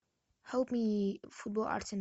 хелп ми футбол арсенал